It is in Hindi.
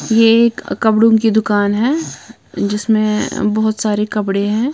यह एक कपड़ों की दुकान है जिसमें बहुत सारे कपड़े हैं।